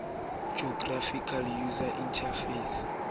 graphical user interface